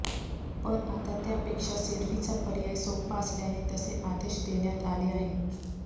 पण आता त्यापेक्षा सेल्फीचा पर्याय सोपा असल्याने तसे आदेश देण्यात आले आहेत